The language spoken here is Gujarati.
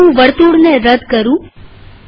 ચાલો હું વર્તુળને રદ કરું